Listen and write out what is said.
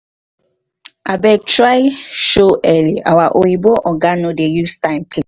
abeg try show early our oyimbo oga no dey use time play